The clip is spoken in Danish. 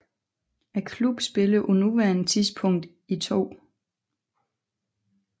Klubben spiller på nuværende tidspunkt i 2